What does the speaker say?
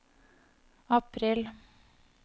april